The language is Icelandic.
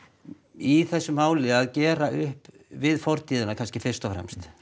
í þessu máli að gera upp við fortíðina fyrst og fremst